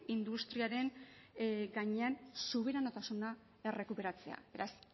industriaren gainean subiranotasuna errekuperatzea beraz